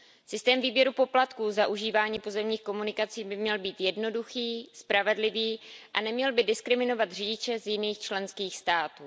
Systém výběru poplatků za užívání pozemních komunikací by měl být jednoduchý, spravedlivý a neměl by diskriminovat řidiče z jiných členských států.